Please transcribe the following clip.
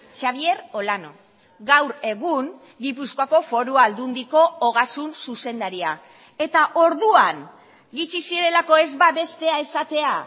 xabier olano gaur egun gipuzkoako foru aldundiko ogasun zuzendaria eta orduan gutxi zirelako ez babestea esatea